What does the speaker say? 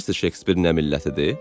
Bilirsiz Şekspir nə millətidir?